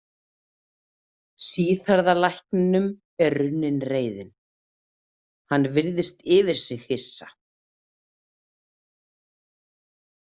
Síðhærða lækninum er runnin reiðin, hann virðist yfir sig hissa.